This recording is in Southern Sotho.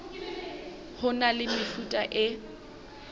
ho na le mefuta e